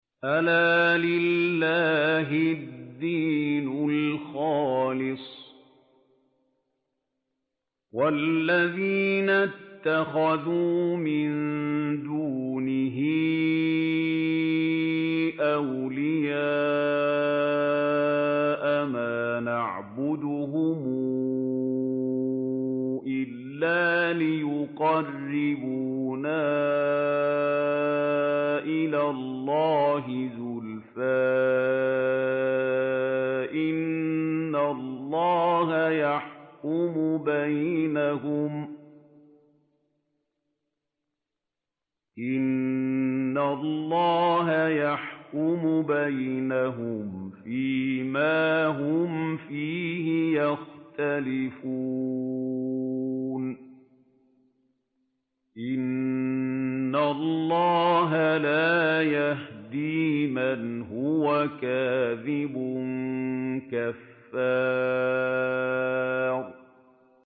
أَلَا لِلَّهِ الدِّينُ الْخَالِصُ ۚ وَالَّذِينَ اتَّخَذُوا مِن دُونِهِ أَوْلِيَاءَ مَا نَعْبُدُهُمْ إِلَّا لِيُقَرِّبُونَا إِلَى اللَّهِ زُلْفَىٰ إِنَّ اللَّهَ يَحْكُمُ بَيْنَهُمْ فِي مَا هُمْ فِيهِ يَخْتَلِفُونَ ۗ إِنَّ اللَّهَ لَا يَهْدِي مَنْ هُوَ كَاذِبٌ كَفَّارٌ